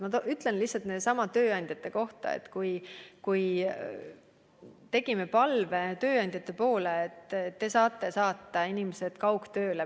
Ma ütlen näiteks tööandjate kohta, et me esitasime palve tööandjatele, et palun saatke inimesed kaugtööle.